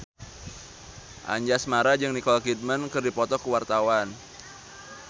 Anjasmara jeung Nicole Kidman keur dipoto ku wartawan